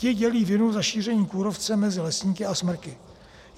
Ti dělí vinu za šíření kůrovce mezi lesníky a smrky.